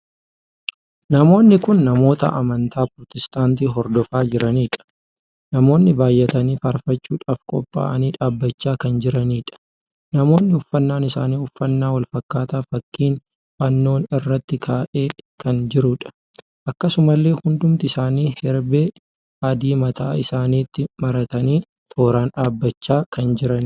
Namoonni kun namoota amantaa pirootistaantii hordofaa jiraniidha. namoonni baay'atanii faarfachuudhaaf qophaa'anii dhaabbachaa kan jiraniidha. namoonni uffannaan isaanii uffannaa wal fakkaataa fakkiin fannoon irratti ka'ee kan jiruudha. akkasumallee hundumti isaanii herbee adii mataa isaaniitti maratanii tooraan dhaabbachaa kan jiraniidha.